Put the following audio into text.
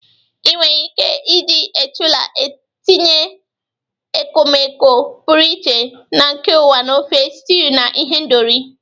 Ị nwere ike iji ejula tinye ekpomeekpo pụrụ iche na nke ụwa na ofe, stews, na ihendori.